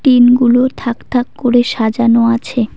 টিনগুলো থাক থাক করে সাজানো আছে।